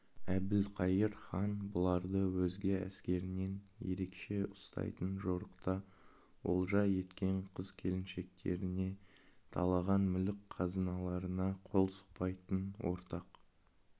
әбілқайыр хан бұларды өзге әскерінен ерекше ұстайтын жорықта олжа еткен қыз-келіншектеріне талаған мүлік-қазыналарына қол сұқпайтын ортақ